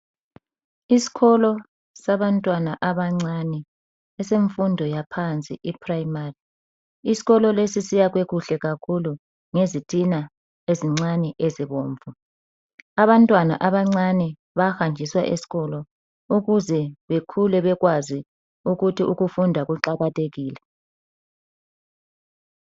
Isikolo sabantwana abancane esemfundo yaphansi e primary, isikolo lesi siyakhwe kuhle kakhulu ngezitina ezincane ezibomvu. Abantwana abancane bahanjiswa esikolo ukuze bekhule bekwazi ukuthi ukufunda kuqakathekile.